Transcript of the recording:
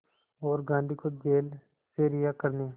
और गांधी को जेल से रिहा करने